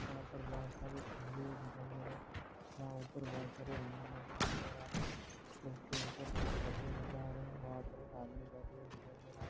वहा पर बहुत सारे खम्बे दिखाई दे रहे है वहा ऊपर बहुत सारे एंगल लगे हुए नजर आ रही है उसके ऊपर कुछ पत्रे नजर आ रहे है वहा पर एक आदमी बेठे हुहे दिखाई दे रहा है।